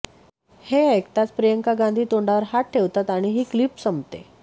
हे ऐकताच प्रियंका गांधी तोंडावर हात ठेवतात आणि ही क्लिप संपते